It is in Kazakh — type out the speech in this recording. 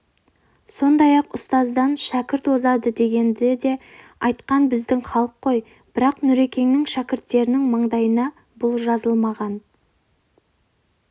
сондай-ақ ұстаздан шәкірт озған дегенді де айтқан біздің халық қой бірақ нүрекеңнің шәкірттерінің маңдайына бұл жазылмаған